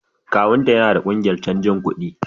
Kawun ta yana da kungiyar canji kuɗi